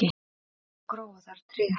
og gróa þar tré